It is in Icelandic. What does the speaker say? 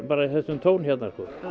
tón hérna